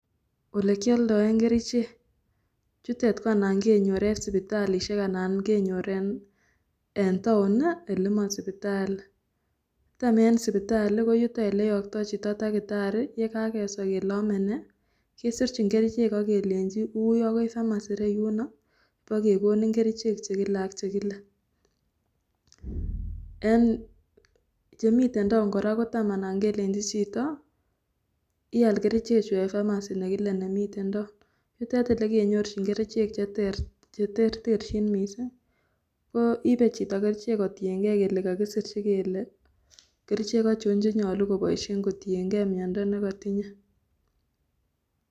Ole kioldoe kerichek yutet ko anan kenyor en sipitalishek anan kenyor en town nii ele masipitali. Tam en sipitali ko yuton oleyokto chito takitari rekakeswa kele ome nee kesirchin kerichek ak kelenji wui akoi pharmacy reyuno bokekonin kerichek chekile ak chekile, en chemiten town Koraa kotam anan kelenji chito wee all kerichek chuu en pharmacy nekile nemiten town, yutet ole kenyorchin kerichek cheter cherterchin missing ko ibe chito kerichek kotiyen gee kokisirchi kele kerichek ochon kenyolu koboishen kotiyen gee miondo nekotinye.